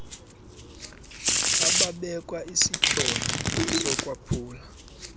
ababekwa isityholo sokwaphula